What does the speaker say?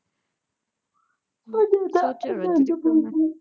ਮੈਂ ਤੈਨੂੰ ਬਾਅਦ ਚ ਕਰਦੀ